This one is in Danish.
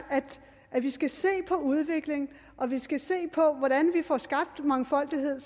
at vi skal se på udviklingen at vi skal se på hvordan vi får skabt en mangfoldighed